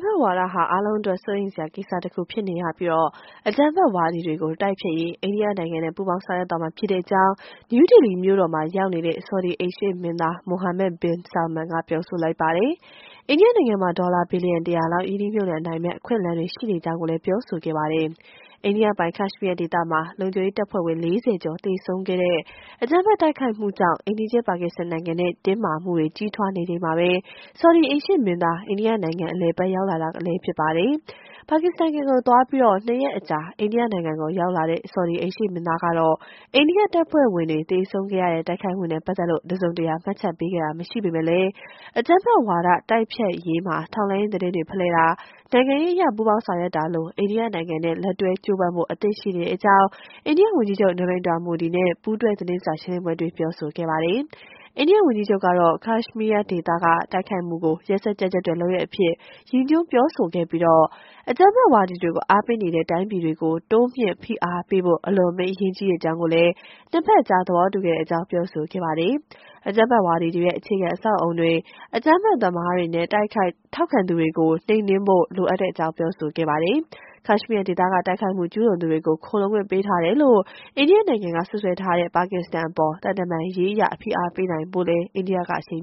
ဖက်ဝါဒဟာ အားလုံးအတွက် စိုးရိမ်စရာ ကိစ္စတခုဖြစ်နေရပြီး၊ အကြမ်းဖက်ဝါဒီတွေကို တိုက်ဖျက်ရေး အိန္ဒိယနိုင်ငံနဲ့ ပူးပေါင်း ဆောင်ရွက်သွားမှာဖြစ်ကြောင်း နယူးဒေလီမြို့တော်မှာ ရောက်နေတဲ့ ဆော်ဒီအိမ်ရှေ့မင်းသား Mohammed bin Salman က ပြောဆိုလိုက်ပါတယ်။ အိန္ဒိယနိုင်ငံမှာ ဒေါ်လာဘီလီယံ ၁၀၀ လောက် ရင်းနှီးမြှုပ်နှံနိုင်မယ့် အခွင့်အလမ်းတွေ ရှိနေကြောင်းလည်း ပြောဆိုခဲ့တာပါ။ အိန္ဒိယပိုင် ကက်ရှ်မီးယားဒေသမှာ လုံခြုံရေးတပ်ဖွဲ့ဝင် ၄၀ ကျော် သေဆုံးခဲ့တဲ့ အကြမ်းဖက် တိုက်ခိုက်မှုကြောင့် အိမ်နီးချင်း ပါကစ္စတန်နိုင်ငံနဲ့ တင်းမာမှုတွေ ကြီးထွားနေချိန်မှာပဲ ဆော်ဒီအိမ်ရှေ့မင်းသား အိန္ဒိယနိုင်ငံ အလည်အပတ် ရောက်လာတာလည်း ဖြစ်ပါတယ်။ ပါကစ္စတန်နိုင်ငံကို သွားရောက်ပြီး ၂ ရက်အကြာ အိန္ဒိယနိုင်ငံကို ရောက်လာတဲ့ ဆော်ဒီအိမ်ရှေ့မင်းသားကတော့ အိန္ဒိယတပ်ဖွဲ့ဝင်တွေ သေဆုံးခဲ့ရတဲ့ တိုက်ခိုက်မှုနဲ့ ပတ်သက်လို့ တစုံတရာ မှတ်ချက်ပေးခဲ့တာ မရှိပေမဲ့လည်း အကြမ်းဖက်ဝါဒ တိုက်ဖျက်ရေးမှာ ထောက်လှမ်းရေးသတင်းတွေ ဖလှယ်တာ နိုင်ငံရေးအရ ပူးပေါင်းဆောင်ရွက်တာလို အိန္ဒိယနိုင်ငံနဲ့ လက်တွဲကြိုးပမ်းဖို့ အသင့်ရှိနေကြောင်းလည်း အိန္ဒိယဝန်ကြီးချုပ် Narendra Modi နဲ့ ပူးတွဲသတင်းစာရှင်းလင်းပွဲအတွင်း ပြောဆိုခဲ့တာပါ။ အိန္ဒိယဝန်ကြီးချုပ် ကတော့ ကက်ရှ်မီးယားဒေသက တိုက်ခိုက်မှုကို ရက်စက်ကြမ်းကြုတ်တဲ့ လုပ်ရပ်အဖြစ် ရည်ညွှန်းပြောဆိုခဲ့ပြီး၊ အကြမ်းဖက်ဝါဒီတွေကို အားပေးနေတဲ့ တိုင်းပြည်တွေကို တိုးမြှင့်ဖိအားပေးဖို့ အလွန်အမင်း အရေးကြီးကြောင်း ၂ ဘက်အကြား သဘောတူခဲ့ကြောင်း ပြောဆိုခဲ့ပါတယ်။ အကြမ်းဖက်ဝါဒီတွေရဲ့ အခြေခံအဆောက်အအုံတွေ၊ အကြမ်းဖက်သမားတွေနဲ့ ထောက်ခံသူတွေကို နှိမ်နင်းဖို့ လိုအပ်ကြောင်းလည်း ပြောဆိုခဲ့တာပါ။ ကက်ရှ်မီးယားဒေသက တိုက်ခိုက်မှု ကျုးလွန်သူတွေကို ခိုလှုံခွင့်ပေးထားတယ်လို့ အိန္ဒိယနိုင်ငံက စွပ်စွဲထားတဲ့ ပါကစ္စတန်အပေါ် သံတမန်ရေးအရ ဖိအားပေးနိုင်ဖို့လည်း အိန္ဒိယက အရှိန်